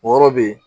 O yɔrɔ be yen